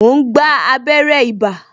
Mo ń gba abere ibà